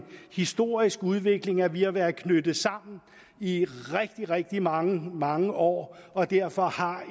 historisk udvikling at vi har været knyttet sammen i rigtig rigtig mange mange år og derfor har